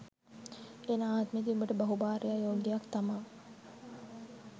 එන ආත්මෙදි උබට බහු භාර්යා යෝගයක් තමා